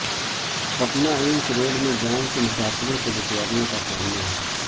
Patna AIIMS road میں جام سے مسافروں کو دشواریوں کا سامنا